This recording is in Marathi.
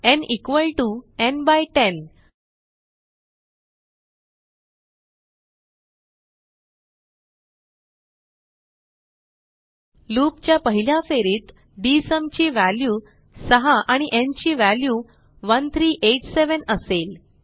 न् न् 10 लूप च्या पहिल्या फेरीत डीएसयूम ची व्हॅल्यू 6 आणि न् ची व्हॅल्यू 1387 असेल